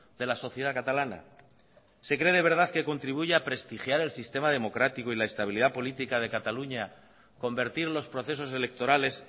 de la sociedad catalana se cree de verdad que contribuye a prestigiar el sistema democrático y la estabilidad política de cataluña convertir los procesos electorales